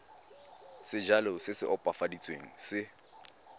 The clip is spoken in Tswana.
sejalo se se opafaditsweng se